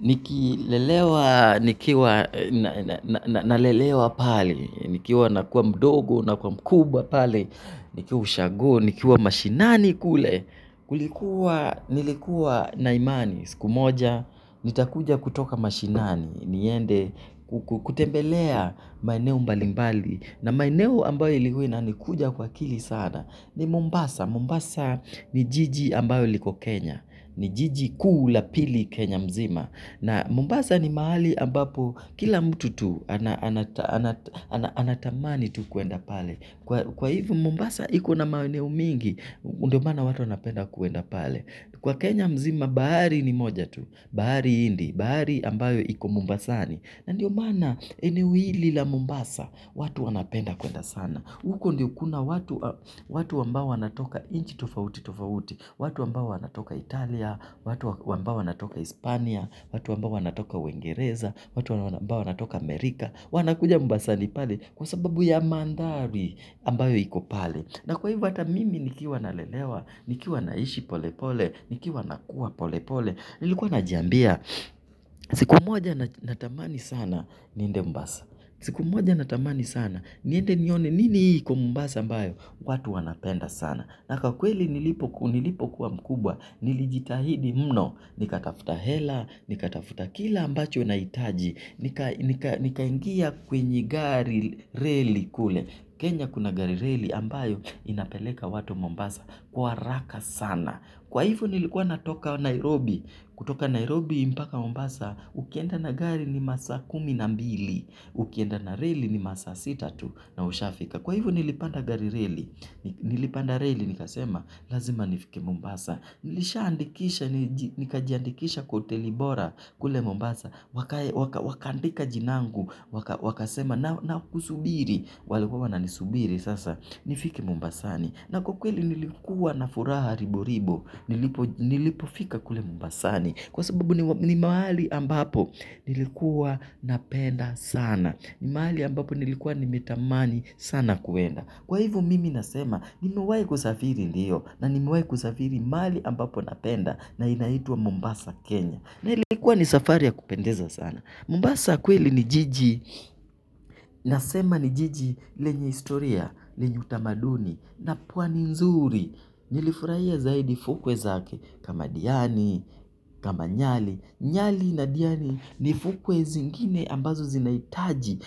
Nikilelewa, nikiwa, nalelewa pale, nikiwa nakuwa mdogo, nakuwa mkubwa pale, nikiwa ushago, nikiwa mashinani kule, nilikuwa na imani, siku moja, nitakuja kutoka mashinani, niende, kutembelea maeneo mbalimbali, na maeneo ambayo ilikuwa inanikuja kwa akili sana, ni Mombasa, Mombasa ni jiji ambayo liko Kenya, ni jiji kuu la pili Kenya mzima, Na Mombasa ni mahali ambapo kila mtu tu anatamani tu kuenda pale. Kwa hivo Mombasa iko na maeneo mingi, ndio mana watu wanapenda kuenda pale. Kwa Kenya mzima bahari ni moja tu, bahari hindi, bahari ambayo iko Mombasani. Ndiyo maana eneo hili la Mombasa, watu wanapenda kuenda sana. Huko ndiyo kuna watu ambawo wanatoka inchi tofauti tofauti, watu ambawo wanatoka Italia, watu ambawo wanatoka Hispania, watu ambawo wanatoka uingereza, watu ambawo wanatoka Amerika, wanakuja Mombasani pale kwa sababu ya mandhari ambayo iko pale. Na kwa hivo ata mimi nikiwa nalelewa, nikiwa naishi pole pole, nikiwa nakuwa pole pole, nilikuwa najiambia siku moja natamani sana niende mbasa. Siku moja natamani sana niende nione nini hii iko Mombasa ambayo? Watu wanapenda sana. Na kakweli nilipokuwa mkubwa nilijitahidi mno. Nikatafuta hela, nikatafuta kila ambacho naitaji. Nikaingia kwenye gari reli kule. Kenya kuna gari reli ambayo inapeleka watu Mombasa kwa haraka sana. Kwa hivo nilikuwa natoka Nairobi, kutoka Nairobi mpaka Mombasa, ukienda na gari ni masa kumi na mbili, ukienda na reli ni masaa sita tu na ushafika. Kwa hivo nilipanda reli nikasema lazima nifike. Mombasa. Nilishaandikisha, nikajiandikisha kwa hoteli bora kule Mombasa. Wakandika jinangu, wakasema nakusubiri. Walikuwa wananisubiri sasa, nifike Mombasani Na kwa kweli nilikuwa na furaha ribo ribo. Nilipofika kule Mombasani. Kwa sababu ni mahali ambapo nilikuwa napenda sana. Ni mahali ambapo nilikuwa nimetamani sana kuenda kwa hivo mimi nasema, nimewai kusafiri ndiyo na nimewai kusafiri mali ambapo napenda na inaitwa Mombasa Kenya. Na ilikuwa ni safari ya kupendeza sana Mombasa kweli ni jiji. Nasema ni jiji lenye historia lenye utamaduni na pwani nzuri. Nilifurahia zaidi fukwe zake kama diani, kama nyali Nyali na Diani ni fukwe zingine ambazo zinaitaji.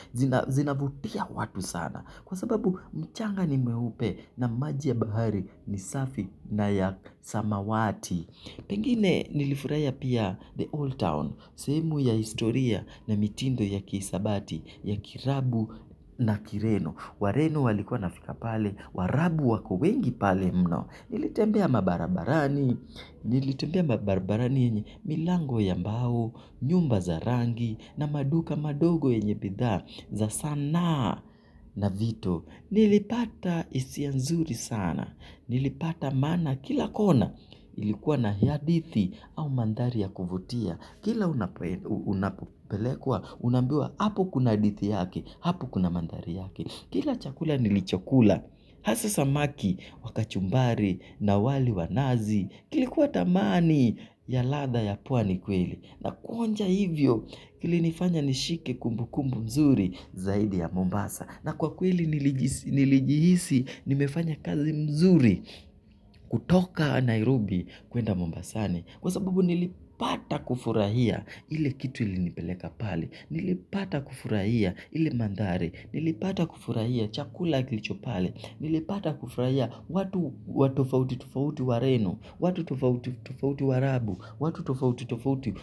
Zinavutia watu sana. Kwa sababu mchanga ni meupe na maji ya bahari ni safi na ya samawati. Pengine nilifurahia pia the old town. Sehemu ya historia na mitindo ya kisabati ya kirabu na kireno Wareno walikuwa wanafika pale Warabu wako wengi pale mno. Nilitembea mabarabarani. Nilitembea mabarabarani yenye milango ya mbao. Nyumba za rangi na maduka madogo yenye bidhaa za sanaa na vito. Nilipata isia nzuri sana. Nilipata maana kila kona. Ilikuwa na hadithi au mandhari ya kuvutia. Kila unapopelekwa unaambiwa hapo kuna hadithi yake. Hapo kuna mandhari yake. Kila chakula nilichokula hasa samaki wa kachumbari na wali wa nazi. Kilikuwa tamani ya ladha ya pwani kweli na kuonja hivyo. Kilinifanya nishike kumbukumbu nzuri zaidi ya Mombasa Na kwa kweli nilijihisi nimefanya kazi mzuri kutoka Nairobi kuenda Mombasani. Kwa sababu nilipata kufurahia ile kitu ilinipeleka pale. Nilipata kufurahia ili mandhare. Nilipata kufurahia chakula kilicho pale. Nilipata kufurahia watu watofauti tofauti wareno. Watu tufauti tufauti wa rabu. Watu tofauti tofauti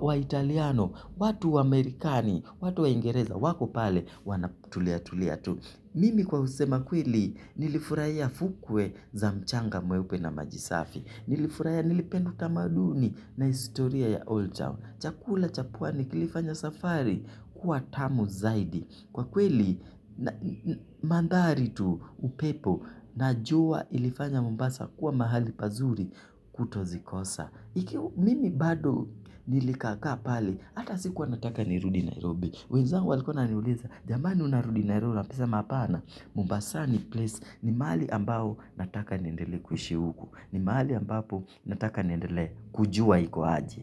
wa italiano. Watu wa amerikani. Watu wa ingereza. Wako pale wanatulia tulia tu. Mimi kwa kusema kweli nilifurahia fukwe za mchanga mweupe na maji safi. Nilifurahia nilipenda utamaduni na istoria ya Old Town. Chakula cha pwani kilifanya safari kuwa tamu zaidi. Kwa kweli mandhari tu upepo na jua ilifanya Mombasa kuwa mahali pazuri kutozikosa. Mimi bado nilikakaa pale ata sikuwa nataka nirudi Nairobi. Wezangu walikuwa wananiuliza, jamani unarudi Nairobi, nasema hapana, Mombasani ni place, ni mahali ambao nataka niendelee kuishi huku, ni maali ambapo nataka niendele kujua iku aje.